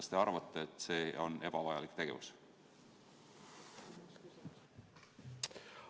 Kas te arvate, et see on ebavajalik otsus?